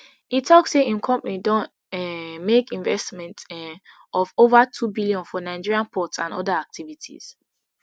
e tok say im company don um make investment um of ova two billion for nigeria ports and oda activities